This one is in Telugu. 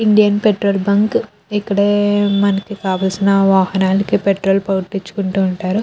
ఇండియన్ పెట్రోల్ బంక్ ఇక్కడే మనకి కావాల్సిన వాహనానికి పెట్రోల్ పట్టించుకుంటుంటారు.